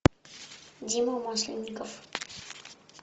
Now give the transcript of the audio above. дима масленников